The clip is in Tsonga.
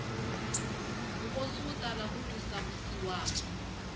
nkosi wu tala ku twisa vusiwana